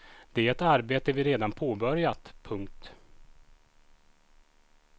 Det är ett arbete vi redan påbörjat. punkt